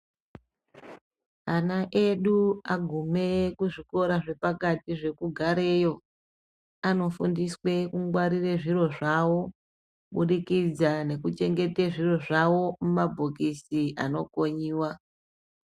Ana edu agume kuzvikora zvepakati zvekugareyo anofundiswe kungwarira zviro zvawo kubudikidza nekuchengete zviro zvawo mumabhokisi anokonyiwa